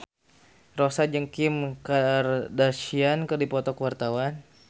Rossa jeung Kim Kardashian keur dipoto ku wartawan